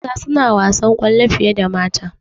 Maza suna wasan kwallo fiye da mata